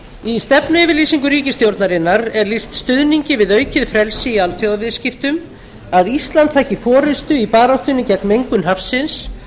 í stefnuyfirlýsingu ríkisstjórnarinnar er lýst stuðningi við aukið frelsi í alþjóðaviðskiptum að íslandi taki forustu í baráttunni gegn mengun hafsins